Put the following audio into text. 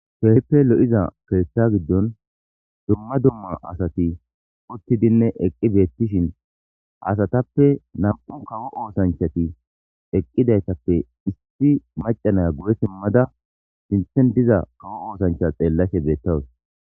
Keehppe lo'iza keeththa giddon dumma dumma asati uttidinne eqqi beettishin asatappe nam'u kawo oosanchati eqqidaytappe issi macanaya guye simmada sinthen diza kawo oosancha xeellashe beettawus.